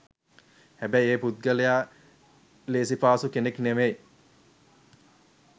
හැබැයි ඒ පුද්ගලයා ලේසිපාසු කෙනෙක් නෙවෙයි.